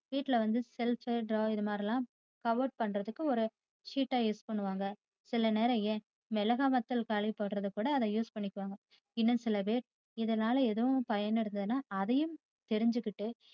வீட்டில வந்து shelf draw இதுமாதிரியெல்லாம் cover பண்றதுக்கு ஒரு sheet ஆ use பண்ணுவாங்க. சில நேரம் ஏன் மிளகாய்வதால் காயபோடுறதுக்கு கூட அத use பண்ணுவாங்க. இன்னும் சிலபேர் இதனால எதும் பயன் இருத்தத்தினா அதையும் தெரிஞ்சிக்கிட்டு